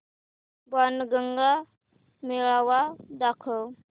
बाणगंगा मेळावा दाखव